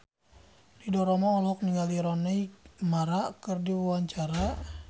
Ridho Roma olohok ningali Rooney Mara keur diwawancara